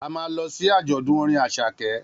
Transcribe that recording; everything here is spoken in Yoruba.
A ma lọ sí àjọ̀dún orin Àṣàkẹ́